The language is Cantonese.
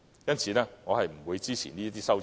因此，我不會支持這些修正案。